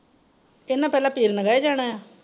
ਇਹਨਾਂ ਪਹਿਲਾਂ . ਜਾਣਾ ਆ।